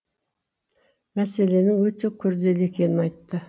мәселенің өте күрделі екенін айтты